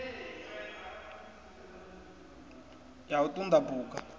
ya u ṱun ḓa phukha